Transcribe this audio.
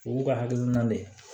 O b'u ka hakilina de ye